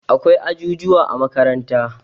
Akwai ajujuwa a makaranta.